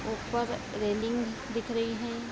ऊपर रेलिंग दिख रही हैं।